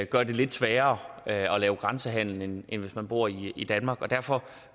gør det lidt sværere at lave grænsehandel end hvis man bor i i danmark og derfor